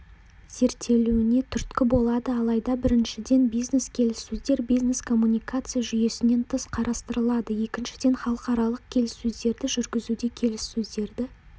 зерттелуіне түрткі болады алайда біріншіден бизнес келіссөздер бизнес-коммуникация жүйесінен тыс қарастырылады екіншіден халықаралық келіссөздерді жүргізуде келіссөздерді